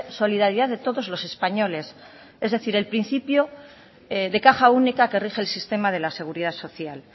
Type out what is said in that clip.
solidaridad de todos los españoles es decir el principio de caja única que rige el sistema de la seguridad social